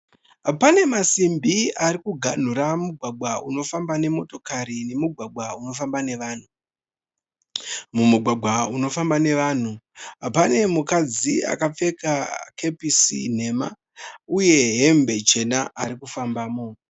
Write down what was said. Pane masimbi ari kuganhura mugwagwa unofamba nemotokari nemugwagwa unofamba nevanhu. Mumugwagwa unofamba nevanhu pane mukadzi akapfeka kepisi nhema uye hembe chena arikufambamo